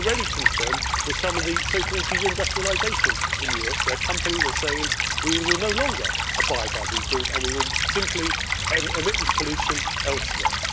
There is already concern at some of the so called de industrialisation in Europe, where companies are saying we will no longer abide by these rules and we will simply emit this pollution elsewhere'.